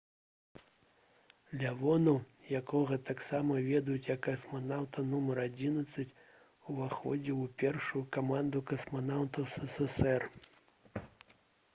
лявонаў якога таксама ведюць як «касманаўта нумар 11» уваходзіў у першую каманду касманаўтаў ссср